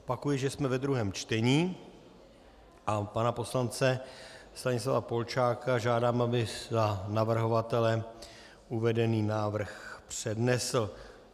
Opakuji, že jsme ve druhém čtení, a pana poslance Stanislava Polčáka žádám, aby za navrhovatele uvedený návrh přednesl.